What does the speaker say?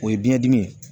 O ye biyɛn dimi ye